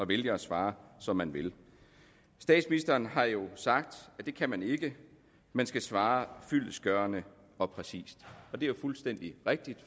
vælge at svare som man vil statsministeren har jo sagt at det kan man ikke man skal svare fyldestgørende og præcist det er jo fuldstændig rigtigt